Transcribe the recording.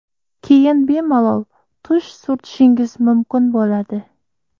Keyin bemalol tush surtishingiz mumkin bo‘ladi.